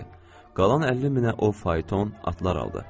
Qalan 50 minə o fayton, atlar aldı.